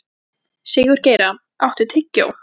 Sigurgeira, áttu tyggjó?